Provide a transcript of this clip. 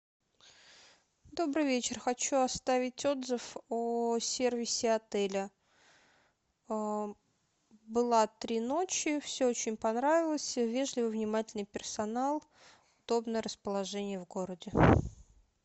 добрый вечер хочу оставить отзыв о сервисе отеля была три ночи все очень понравилось вежливый внимательный персонал удобное расположение в городе